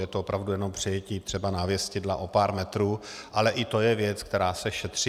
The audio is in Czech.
Je to opravdu jenom přejetí třeba návěstidla o pár metrů, ale i to je věc, která se šetří.